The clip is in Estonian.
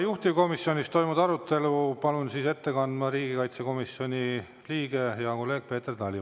Juhtivkomisjonis toimunud arutelu palun ette kandma riigikaitsekomisjoni liikme, hea kolleegi Peeter Tali.